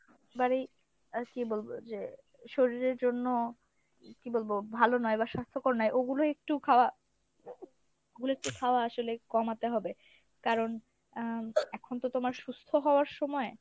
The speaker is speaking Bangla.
বারেই আহ কী বলবো যে শরীরের জন্য কী বলবো ভালো নয় বা সাস্থ্যকর নয় ওগুলো একটু খাওয়া ওগুলো একটু খাওয়া আসলে কমাতে হবে। কারণ আহ এখন তো তোমার সুস্থ হওয়ার সময়